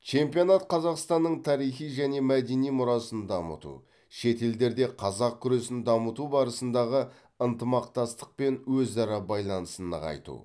чемпионат қазақстанның тарихи және мәдени мұрасын дамыту шет елдерде қазақ күресін дамыту барысындағы ынтымақтастық пен өзара байланысын нығайту